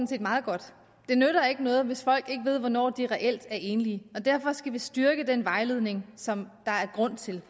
set meget godt det nytter ikke noget hvis folk ikke ved hvornår de reelt er enlige derfor skal vi styrke den vejledning som der er grund til